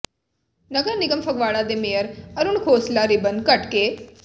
ਨਗਰ ਨਿਗਮ ਫਗਵਾੜਾ ਦੇ mayor Arun Khosla ribbon cut ਕੇ